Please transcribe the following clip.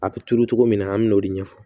A bɛ turu cogo min na an bɛ n'o de ɲɛfɔ